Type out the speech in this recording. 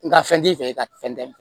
Nga fɛn t'i fɛ ka fɛn tɛmɛn